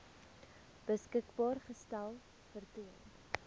beskikbaar gestel vertoon